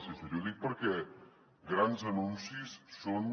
i ho dic perquè grans anuncis són